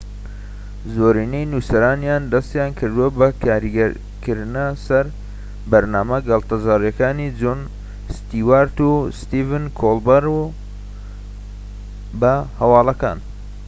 زۆرینەی نوسەرانیان دەستیان کردووە بە کاریگەریکردنە سەر بەرنامە گاڵتەجاڕیەکانی جۆن ستیوارت و ستیڤن کۆڵبەرت بە هەواڵەکان